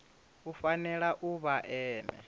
u fanela u vha ene